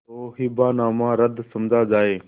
तो हिब्बानामा रद्द समझा जाय